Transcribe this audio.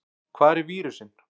Hvar er vírusinn?